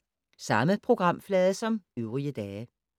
Samme programflade som øvrige dage